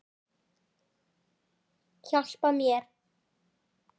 Hjálpa mér!